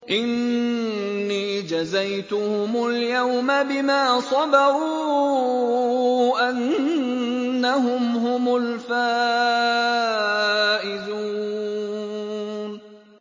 إِنِّي جَزَيْتُهُمُ الْيَوْمَ بِمَا صَبَرُوا أَنَّهُمْ هُمُ الْفَائِزُونَ